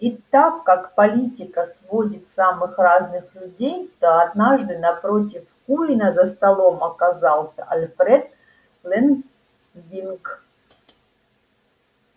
и так как политика сводит самых разных людей то однажды напротив куинна за столом оказался альфред лэнвинг